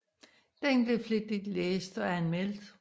Den blev flittigt læst og anmeldt